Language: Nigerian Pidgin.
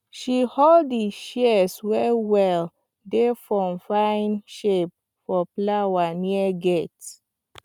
she hold di shears wellwell dey form fine shape for flower near gate